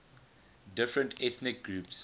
different ethnic groups